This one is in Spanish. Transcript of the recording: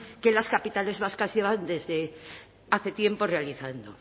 que en las capitales vascas llevan desde hace tiempo realizando